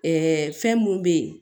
fɛn mun be yen